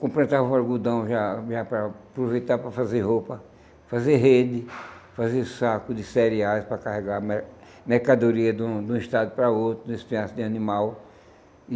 Completava o algodão já já para aproveitar para fazer roupa, fazer rede, fazer saco de cereais para carregar mer mercadoria de um de um estado para o outro, de espinhaço de animal.